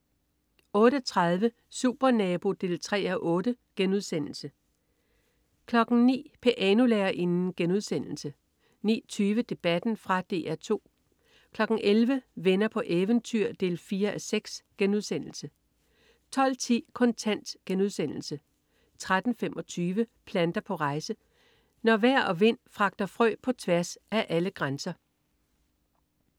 08.30 Supernabo 3:8* 09.00 Pianolærerinden* 09.20 Debatten. Fra DR 2 11.00 Venner på eventyr 4:6* 12.10 Kontant* 13.25 Planter på rejse. Når vejr og vind fragter frø på tværs af alle grænser